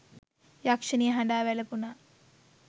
යක්ෂණිය හඬා වැළපුනා.